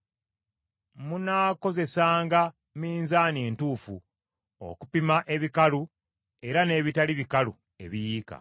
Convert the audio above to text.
Munaakozesanga minzaani entuufu okupima ebikalu era n’ebitali bikalu ebiyiika.